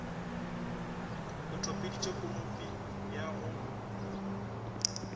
o tobeditše konope ya go